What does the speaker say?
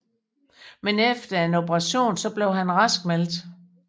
Men efter en operation blev han raskmeldt